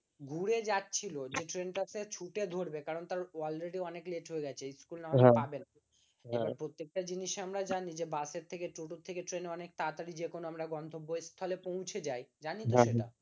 ঘুরে যাচ্ছিল যে ট্রেন টা সে ছুটে ধরবে কারণ তার already অনেক late হয়ে গেছে স্কুল হয়তো পাবে না এবার প্রত্যেকটা জিনিসের আমরা জানি, যে বাসের থেকে টিটোর থেকে ট্রেন অনেক তাড়াতাড়ি যেকোনো আমরা গন্তব্যস্থলে পৌঁছে যায় জানি তো এটা